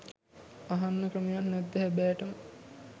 අහන්න ක්‍රමයක් නැද්ද හැබැටම